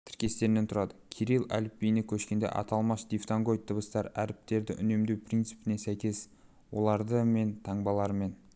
тіркестерінен тұрады кирилл әліпбиіне көшкенде аталмыш дифтонгоид дыбыстар әріптерді үнемдеу принципіне сәйкес оларды мен таңбаларымен